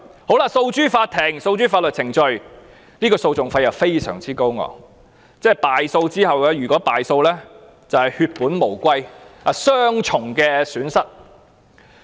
如果訴諸法律程序，訴訟費又非常高昂，一旦敗訴，便會血本無歸，雙重損失。